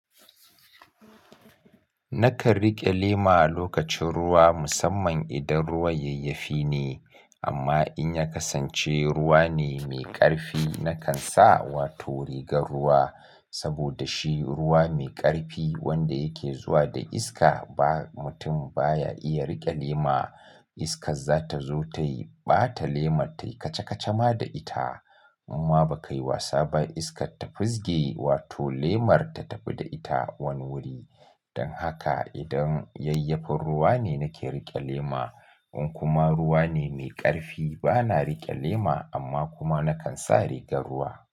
Nakan riƙe lema a lokacin ruwa musamman idan ruwan yayyafi ne. Amma in ya kasance ruwa ne mai ƙarfi nakan sa wato rigar ruwa. Saboda shi ruwa mai ƙarfi wanda yake zuwa da iska ba mutum baya iya riƙe lema. Iskar za ta zo ta yi ɓata lemar ta yi kaca-kaca ma da ita. Amma ba kai wasa ba iskar ta fisge wato lemar ta tafi da ita wani wuri. Dan haka idan yayyafin ruwa ne nake riƙe lema, in kuma ruwa ne mai ƙarfi bana riƙe lema amma kuma nakan sa rigar ruwa.